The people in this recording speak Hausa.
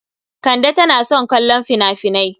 Kande tana son kallon fina-finai.